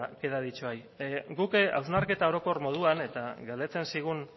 queda dicho ahí guk hausnarketa orokor moduan eta galdetzen zigun